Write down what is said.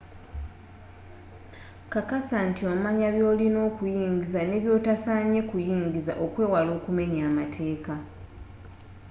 kakasa nti omanya byolina okuyingiza ne byotasanye kuyingiza okwewala okumenya amateka